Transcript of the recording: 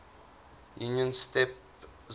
union's steppe zone